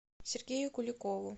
сергею куликову